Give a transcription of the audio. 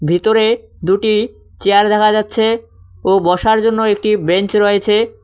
ভিতরে দুটি চেয়ার দেখা যাচ্ছে ও বসার জন্য একটি বেঞ্চ রয়ছে।